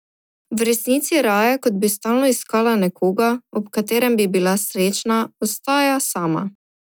V resnici raje, kot bi stalno iskala nekoga, ob katerem bi bila srečna, ostaja sama.